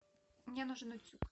мне нужен утюг